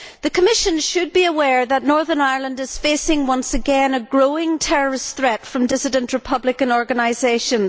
The Commission should be aware that Northern Ireland is facing once again a growing terrorist threat from dissident Republican organisations.